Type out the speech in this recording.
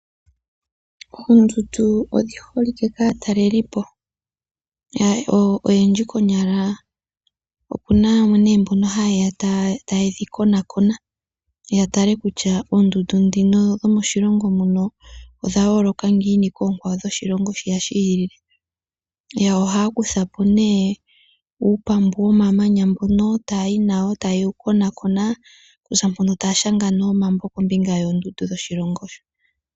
Oondudnu odhi holike kaataleli po unene konyala opuna yamwe mbono ha yeya taye dhi konakona kutya oondundu dhino dhomodhilongo muno odha yooloka ngiini koondundu dhokiilongo yilwe. Yo ohaya kuthako nee uupambu womamanya ngono, taya konakonaka e taya shanga nee omabo kombinga yoondundu dhoshilongo shoka.